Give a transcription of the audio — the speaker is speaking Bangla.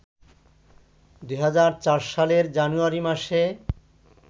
২০০৪ সালের জানুয়ারি মাসে